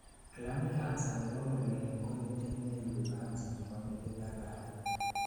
gland cancer nebo ngulek ko nitet neibu cancer nebo metit ak katit